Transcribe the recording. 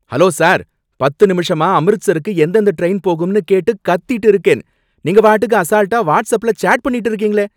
Hello sir! பத்து நிமிஷமா அம்ரித்சருக்கு எந்தெந்த ட்ரெயின் போகும்னு கேட்டு கத்திட்டு இருக்கேன், நீங்க வாட்டுக்கு அசால்ட்டா வாட்ஸ்அப்ல சேட் பண்ணிக்கிட்டு இருக்கீங்களே!